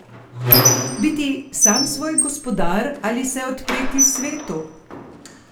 Biti sam svoj gospodar ali se odpreti svetu?